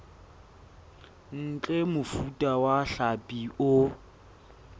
ntle mofuta wa hlapi o